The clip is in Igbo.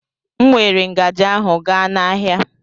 M weere ngaji ahụ gaa n'ahịa.